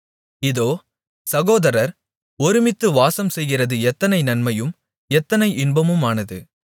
இதோ சகோதரர் ஒருமித்து வாசம்செய்கிறது எத்தனை நன்மையும் எத்தனை இன்பமுமானது